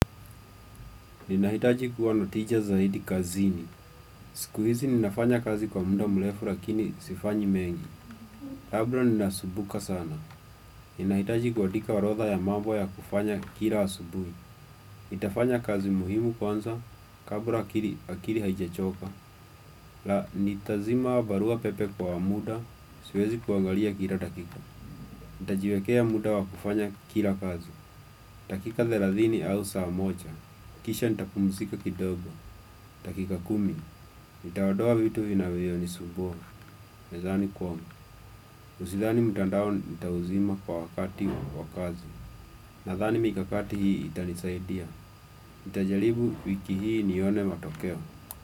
Ninahitaji kuwa na tija zaidi kazini. Siku hizi ninafanya kazi kwa muda mlefu lakini sifanyi mengi. Labda ninasumbuka sana. Ninahitaji kuandika orodha ya mambo ya kufanya kila asubui. Nitafanya kazi muhimu kwanza kabla akiri haijachoka. Na nitazima barua pepe kwa muda, siwezi kuangalia kila dakika. Nitajiwekea muda wa kufanya kila kazi. Takika thelathini au saa mocha, kisha nitapumsika kidogo. Takika kumi, nitaodoa vitu vinavyo ni subua. Mezani kwangu, usidhani mtandao nitauzima kwa wakati wa kazi. Nadhani mikakati hii itanisaidia. Nitajaribu wiki hii nione matokeo.